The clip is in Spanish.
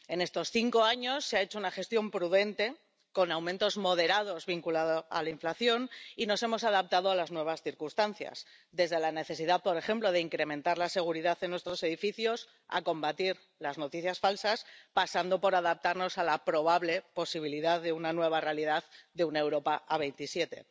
En estos cinco años se ha hecho una gestión prudente, con aumentos moderados vinculados a la inflación y nos hemos adaptado a las nuevas circunstancias, desde la necesidad, por ejemplo, de incrementar la seguridad en nuestros edificios a combatir las noticias falsas, pasando por adaptarnos a la probable posibilidad de una nueva realidad de una Europa a veintisiete.